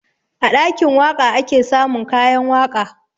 A ɗakin waƙa ake samun kayan waƙa